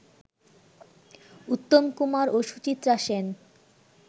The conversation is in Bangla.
উত্তম কুমার ও সুচিত্রা সেন